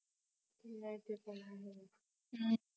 हं ते तर आहेच